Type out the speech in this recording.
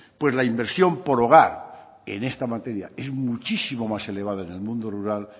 pues la inversión por hogar en esta materia es muchísimo más elevada en el mundo rural